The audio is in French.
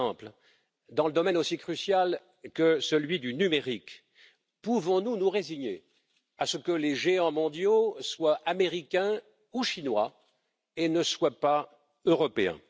Par exemple, dans un domaine aussi crucial que celui du numérique, pouvons nous nous résigner à ce que les géants mondiaux soient américains ou chinois et ne soient pas européens?